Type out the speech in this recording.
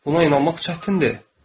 Buna inanmaq çətindir.